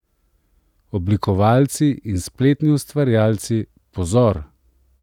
Oblikovalci in spletni ustvarjalci, pozor!